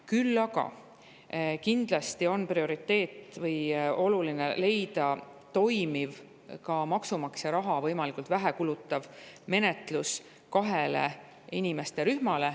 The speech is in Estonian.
Küll aga on kindlasti oluline leida toimiv, maksumaksja raha võimalikult vähe kulutav menetlus kahele inimrühmale.